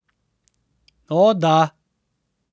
O, da.